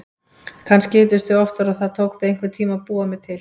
Kannski hittust þau oftar og það tók þau einhvern tíma að búa mig til.